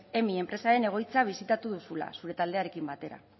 emmi enpresaren egoitza bisitatu duzula zure taldearekin batera